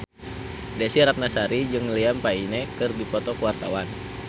Desy Ratnasari jeung Liam Payne keur dipoto ku wartawan